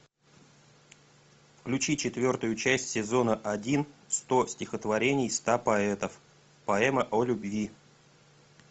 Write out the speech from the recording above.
включи четвертую часть сезона один сто стихотворений ста поэтов поэма о любви